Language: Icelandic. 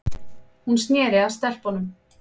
Hún sneri sér að stelpunum.